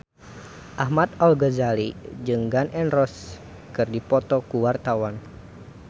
Ahmad Al-Ghazali jeung Gun N Roses keur dipoto ku wartawan